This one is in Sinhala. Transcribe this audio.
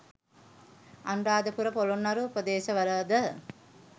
අනුරාධපුර පොළොන්නරු ප්‍රදේශවලද